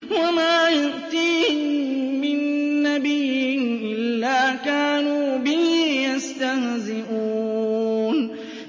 وَمَا يَأْتِيهِم مِّن نَّبِيٍّ إِلَّا كَانُوا بِهِ يَسْتَهْزِئُونَ